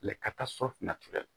ka taa shɔfinɛ tigɛ